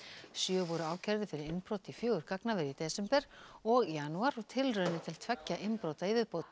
sjö voru ákærðir fyrir innbrot í fjögur gagnaver í desember og janúar og tilraunir til tveggja innbrota í viðbót